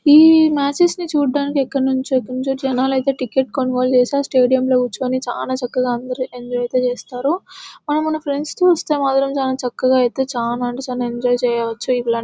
ఈ మ్యాచెస్ ని చూడ్డానికి ఎక్కడి నుంచో ఎక్కడి నుంచో జనాలు అయితే టికెట్ కొనుగోలు చేసి ఆ స్టేడియంలో కూర్చొని చాలా చక్కగా అందరూ ఎంజాయ్ అయితే చేస్తారు మన ఫ్రెండ్స్ ని చూస్తే మాత్రం చాలా చక్కగా అయితే చానా అంటే చానా ఎంజాయ్ చేయవచ్చు.